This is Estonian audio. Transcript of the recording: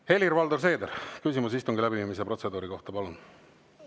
Helir-Valdor Seeder, küsimus istungi läbiviimise protseduuri kohta, palun!